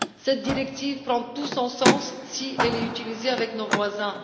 Cette directive prend tout son sens si elle est utilisée avec nos voisins.